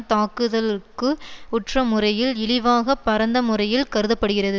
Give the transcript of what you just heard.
தாக்குதல்க்கு உற்ற முறையில் இழிவாகப் பரந்த முறையில் கருத படுகிறது